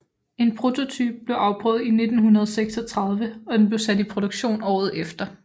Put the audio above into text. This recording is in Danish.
En prototype blev afprøvet i 1936 og den blev sat i produktion året efter